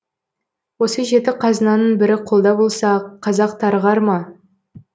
осы жеті қазынаның бірі қолда болса қазақ тарығар ма